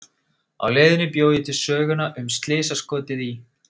Á leiðinni bjó ég til söguna um slysaskotið í